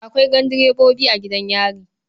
Akwai gandirebobi a gidan yari.